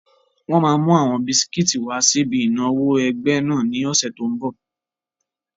Wọ́n máa mú àwọn bisikíìtì wà síbi ìnáwó ẹgbẹ́ náà ní ọ̀sẹ̀ tó n bọ̀